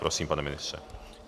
Prosím, pane ministře.